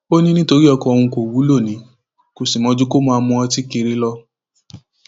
ó ní nítorí ọkọ òun kò wúlò ni kò sì mọ ju kó máa mu ọtí kiri lọ